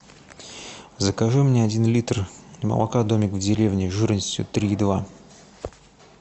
закажи мне один литр молока домик в деревне жирностью три и два